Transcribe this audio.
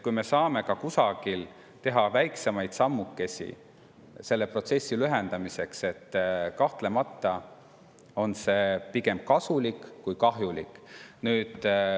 Kui me saame kuidagi teha kas või väikesi sammukesi selle protsessi lühendamiseks, siis kahtlemata on see pigem kasulik kui kahjulik.